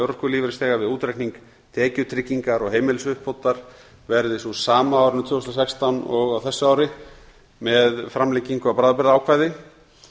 örorkulífeyrisþega við útreikning tekjutryggingar og heimilisuppbótar verði sú sama á árinu tvö þúsund og sextán og á þessu ári með framlengingu á bráðabirgðaákvæði